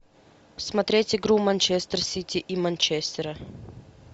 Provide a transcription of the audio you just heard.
смотреть игру манчестер сити и манчестера